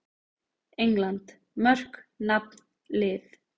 England: Mörk- Nafn- Lið.